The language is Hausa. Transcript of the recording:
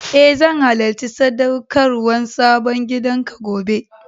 E, zan halacci sadaukarwan sabon gidan ka gobe.